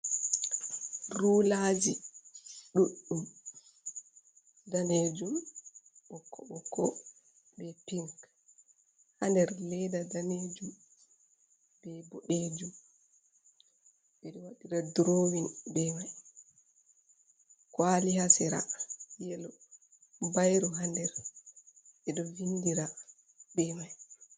Rulaji ɗuddum danejum ɓokko ɓokko be pinc ha nder ledda danejum be boddejum. Ɓeɗo wadira drowing be mai, kwali hasira yelo, bairu hander edo vindira be mai.